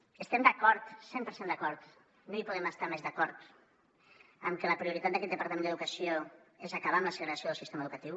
estem d’acord cent per cent d’acord no hi podem estar més d’acord en que la prioritat d’aquest departament d’educació és acabar amb la segregació del sistema educatiu